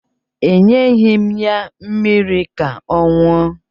Enyeghi m ya mmiri ka ọ ṅụọ